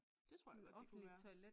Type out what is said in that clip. Det tror jeg godt det kunne være